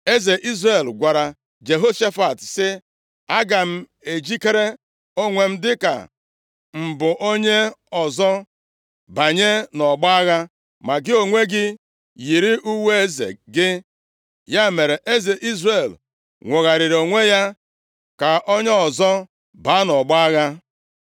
Eze Izrel gwara Jehoshafat, sị, “Aga m ejikere onwe m dịka m bụ onye ọzọ banye nʼọgbọ agha, ma gị onwe gị yiri uwe eze gị.” Ya mere, eze Izrel nwogharịrị onwe ya ka onye ọzọ baa nʼọgbọ agha.